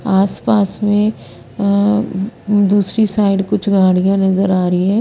आस पास में अः दूसरी साइड कुछ गाड़िया नज़र आरही है।